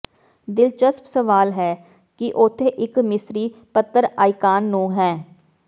ਦਿਲਚਸਪ ਸਵਾਲ ਹੈ ਕਿ ਉੱਥੇ ਇੱਕ ਮਿਸਰੀ ਪੱਤਰ ਆਈਕਾਨ ਨੂੰ ਹੈ